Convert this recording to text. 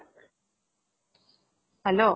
hello